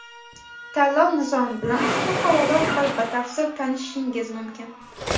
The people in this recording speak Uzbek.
Tanlov nizomi bilan ushbu havola orqali batafsil tanishishingiz mumkin.